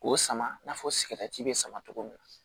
K'o sama i n'a fɔ bɛ sama cogo min na